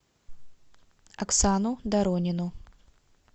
оксану доронину